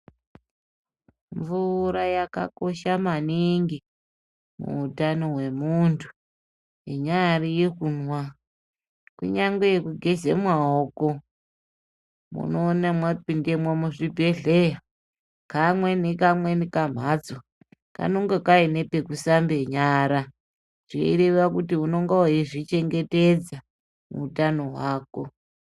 Mvura yakakosha maningi muutano hwemuntu inyari yekumwa kunyarigwe yekugeze maoko unoona mwapindemo muzvibhedhlera kamwe nekamwe kumhatso kanonga Kaine pekusambe nyara zveireva kuti unonga weizvichengetedza utano hwako.